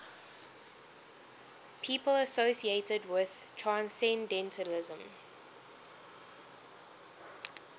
people associated with transcendentalism